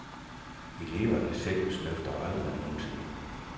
Eleverne selv snøfter aldrig nogensinde.